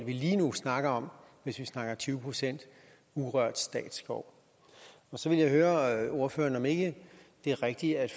lige nu snakker om hvis vi snakker tyve procent urørt statsskov så vil jeg høre ordføreren om ikke det er rigtigt at